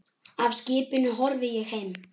Af skipinu horfi ég heim.